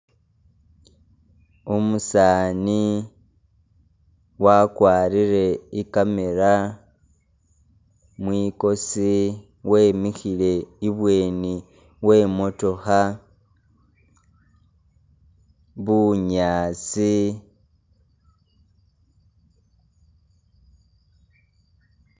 Umusaani wakwalire i'camera mwikosi, wemihile ibweni we motooha, bunyaasi